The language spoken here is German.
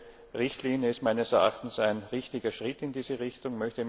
Diese Richtlinie ist meines Erachtens ein richtiger Schritt in diese Richtung.